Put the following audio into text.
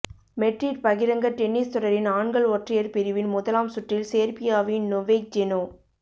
Madrid பகிரங்க tennis தொடரின் ஆண்கள் ஒற்றையர் பிரிவின் முதலாம் சுற்றில் சேர்பியாவின் நொவேக் ஜெனோ